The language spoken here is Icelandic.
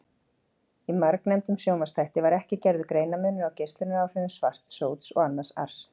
Í margnefndum sjónvarpsþætti var ekki gerður greinarmunur á geislunaráhrifum svarts sóts og annars ars.